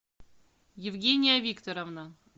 евгения викторовна